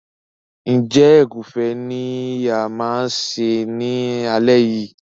Njé Egufe ní ìyá ma ṣe ní alé yí?